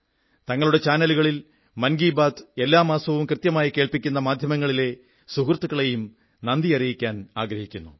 തങ്ങളുടെ ചാനലുകളിൽ മൻ കീ ബാത്ത് എല്ലാ മാസവും കൃത്യമായി കേൾപ്പിക്കുന്ന മാധ്യമങ്ങളിലെ സുഹൃത്തുക്കളെയും നന്ദി അറിയിക്കാനാഗ്രഹിക്കുന്നു